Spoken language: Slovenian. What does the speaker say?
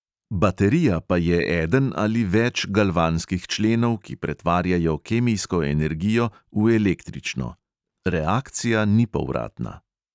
Baterija pa je eden ali več galvanskih členov, ki pretvarjajo kemijsko energijo v električno – reakcija ni povratna.